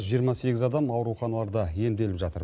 жиырма сегіз адам ауруханаларда емделіп жатыр